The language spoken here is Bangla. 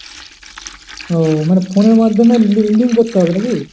ও মানে phone এর মাধ্যমে লি~ link করতে হবে, নাকি?